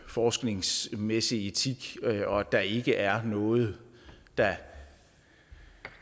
forskningsmæssig etik og at der ikke er noget der